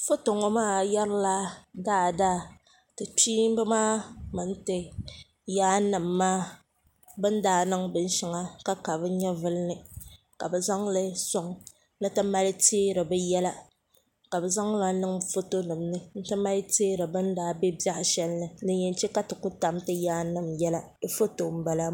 foto ŋɔ maa yɛri la daadaa ti kpiimba maa mini ti yaan nima maa bɛ ni daa niŋ bin shɛŋa ka ka bɛ nyɛvuli ni ka bɛ zaŋli sɔŋ ni ti mali teeri bɛ yɛla ka zaŋ ŋa niŋ fotonima ni ni ti mali teeri bɛ ni daa be biɛh' shɛli din yɛn che ka ti ku tam ti yaan nima yɛla bɛ foto m-bala maa.